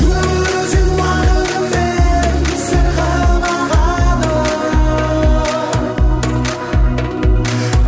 өмір өзен уақытымен сырғып ағады